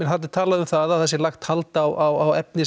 þarna er talað um að það hafi verið lagt hald á efni